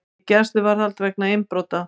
Í gæsluvarðhald vegna innbrota